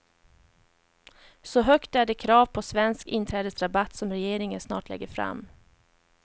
Så högt är det krav på svensk inträdesrabatt som regeringen snart lägger fram.